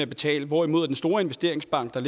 betale hvorimod den store investeringsbank der